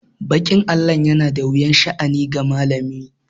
Baƙin allo yana da wuyan sha'ani ga malami.